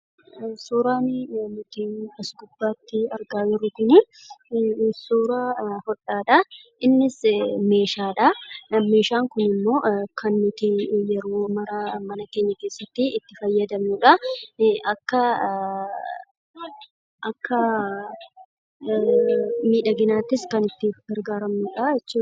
Suuraan nuti as gubbaatti argaa jirru kun, suuraa hodhaa dha. Innis meeshaa dha. Meeshaan kun immoo kan nuti yeroo mara mana keenya keessatti itti fayyadamnuu dha. Akka miidhaginaattis kan itti gargaaramnuu dha jechuu dha.